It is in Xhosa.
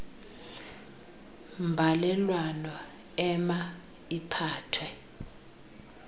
mbalelwano ema iphathwe